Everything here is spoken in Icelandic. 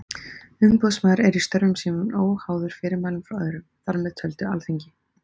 Umboðsmaður er í störfum sínum óháður fyrirmælum frá öðrum, þar með töldu Alþingi.